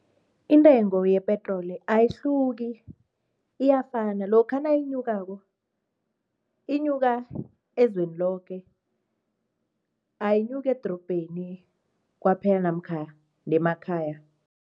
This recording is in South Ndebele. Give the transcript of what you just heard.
Intengo yepetroli ayihluki iyafana, lokha nayinyukako inyuka ezweni loke, ayinyuki edrobheni kwaphela namkha nemakhaya.